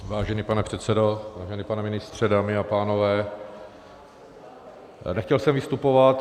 Vážený pane předsedo, vážený pane ministře, dámy a pánové, nechtěl jsem vystupovat.